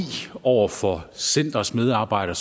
over for centerets medarbejdere